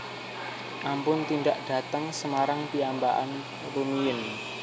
Ampun tindak dateng Semarang piyambakan rumiyin